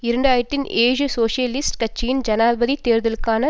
இரண்டு ஆயிரத்தி ஏழு சோசியலிஸ்ட் கட்சியின் ஜனாதிபதி தேர்தலுக்கான